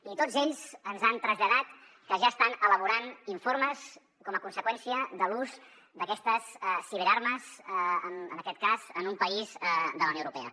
i tots ells ens han traslladat que ja estan elaborant informes com a conseqüència de l’ús d’aquestes ciberarmes en aquest cas en un país de la unió europea